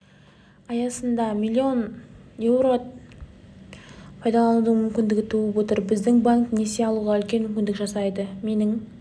аясында миллион еуроны пайдаланудың мүмкіндігі туып отыр біздің банк несие алуға үлкен мүмкіндік жасайды менің